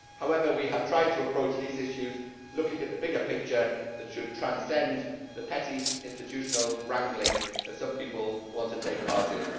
However, we have tried to approach these issues looking at the bigger picture, which ought to transcend the petty institutional wrangling that some people want to take part in.